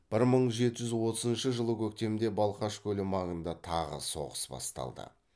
бір мың жеті жүз отызыншы жылы көктемде балқаш көлі маңында тағы соғыс басталды